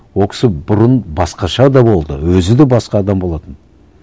ол кісі бұрын басқаша да болды өзі де басқа адам болатын